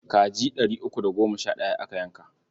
Kaji ɗari uku da goma sha ɗaya aka yanka.